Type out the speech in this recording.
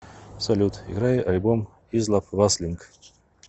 салют играй альбом излаб васлинг